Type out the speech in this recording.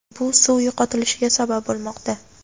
bu suv yo‘qotilishiga sabab bo‘lmoqda.